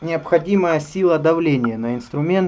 необходимая сила давления на инструмент